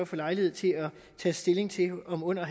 få lejlighed til at tage stilling til om under